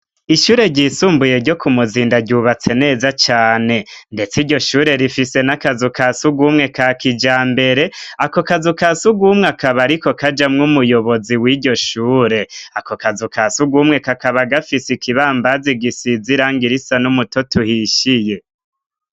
Ishure ryisumbuye ryo ku muzinda ryubatse neza cane, ndetse iryo shure rifise n'akazu ka siugumwe ka kija mbere ako kazu ka si ugumwe akaba, ariko kajamwo umuyobozi w'iryo shure ako kazu ka siugumwe kakaba gafise ikibambazi gisizirang irisa n'umuto tuhishiye.